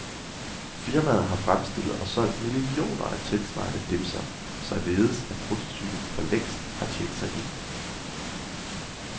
Firmaet, har fremstillet og solgt millioner af tilsvarende dimser, således at prototypen for længst har tjent sig ind.